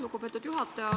Lugupeetud juhataja!